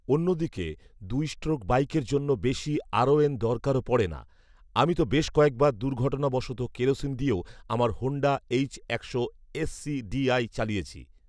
অন্যদিকে দুই স্ট্রোক বাইকের জন্য বেশি আরওএন দরকারও পড়ে না আমি তো বেশ কয়েকবার দুর্ঘটনাবশত কেরোসিন দিয়েও আমার হোন্ডা এইচ একশো এস সিডিআই চালিয়েছি